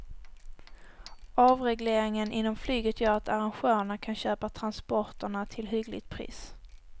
Avregleringen inom flyget gör att arrangörerna kan köpa transporterna till hyggligt pris.